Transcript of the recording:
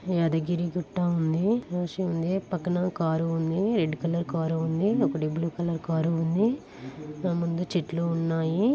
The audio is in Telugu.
యాదగిరిగుట్ట ఉంది. ఉంది. అటు పక్కన కారు ఉంది. రెడ్ కలర్ కారు ఉంది.ఒకటి బ్లూ కలర్ కారు ఉంది. ముందు చెట్లు ఉన్నాయి.